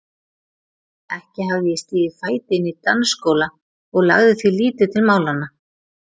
Ekki hafði ég stigið fæti inn í dansskóla og lagði því lítið til málanna.